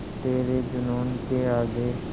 तेरे जूनून के आगे